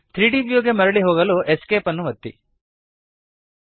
3ದ್ ವ್ಯೂ ಗೆ ಮರಳಿ ಹೋಗಲು ESC ಅನ್ನು ಒತ್ತಿರಿ